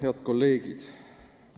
Head kolleegid!